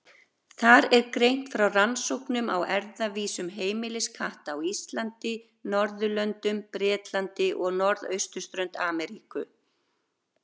Þar er greint frá rannsóknum á erfðavísum heimiliskatta á Íslandi, Norðurlöndum, Bretlandi og norðausturströnd Ameríku.